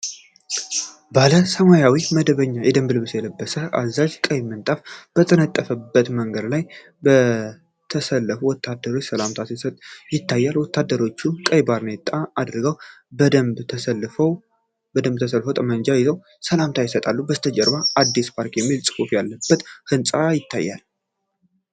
ባለ ሰማያዊ መደበኛ የደንብ ልብስ የለበሰ አዛዥ፤ ቀይ ምንጣፍ በተነጠፈበት መንገድ ላይ፣ ለተሰለፉ ወታደሮች ሰላምታ ሲሰጥ ይታያል። ወታደሮቹም ቀይ ባርኔጣ አድርገው፤ በደንብ ተሰልፈው ጠመንጃ ይዘው ሰላምታ ይሰጣሉ። ከበስተጀርባ "አዲስ ፓርክ" የሚል ጽሑፍ ያለበት ህንጻ ይታያል።